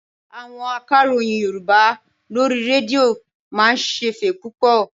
Àwọn akàròyìn Yorùbá lórí rédíò máa ń ṣẹ̀fẹ̀ púpọ̀.